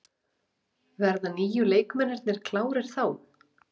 Verða nýju leikmennirnir klárir þá?